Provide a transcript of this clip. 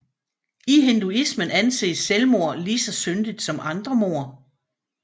I hinduismen anses selvmord lige så syndigt som andre mord